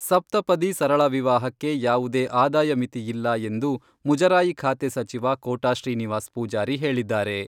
ಸಪ್ತಪದಿ ಸರಳ ವಿವಾಹಕ್ಕೆ ಯಾವುದೇ ಆದಾಯ ಮಿತಿ ಇಲ್ಲ ಎಂದು ಮುಜರಾಯಿ ಖಾತೆ ಸಚಿವ ಕೋಟಾ ಶ್ರೀನಿವಾಸ್ ಪೂಜಾರಿ ಹೇಳಿದ್ದಾರೆ.